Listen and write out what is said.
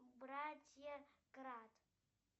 братья кратт